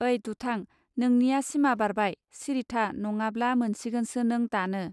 ओइ दुथां, नोंनिया सिमा बारबाय सिरिथा नङाब्ला मोनसिगोनसो नों दानो